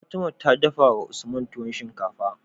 Fatima ta dafawa usman tuwon shinkafa